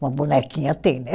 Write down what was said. Uma bonequinha tem, né?